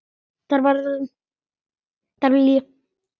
Þar var líf og fjör.